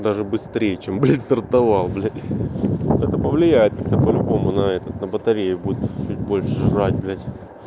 даже быстрее чем блять стартовал блять это повлияет это по-любому на этот на батарею будет чуть больше жрать блять